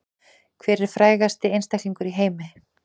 Hver er frægasti einstaklingur í heimi